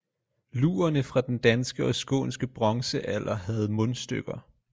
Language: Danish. Lurerne fra den danske og skånske bronzealder havde mundstykker